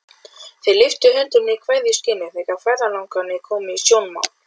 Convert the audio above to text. Þeir lyftu höndum í kveðjuskyni þegar ferðalangarnir komu í sjónmál.